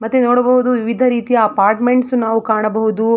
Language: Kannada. ಮತ್ತು ನೋಡಬಹುದು ವಿವಿಧ ರೀತಿಯ ಅಪಾರ್ಟ್ಮೆಂಟ್ಸ್ ನಾವು ಕಾಣಬಹುದು.